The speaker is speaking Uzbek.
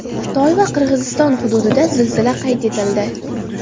Xitoy va Qirg‘iziston hududida zilzila qayd etildi.